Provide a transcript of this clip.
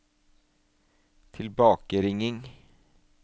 tilbakeringing